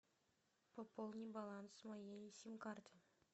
пополни баланс моей сим карты